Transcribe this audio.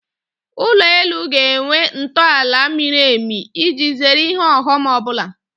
Ụlọ elu ga-enwe ntọaala miri emi iji zere ihe ọghọm ọbụla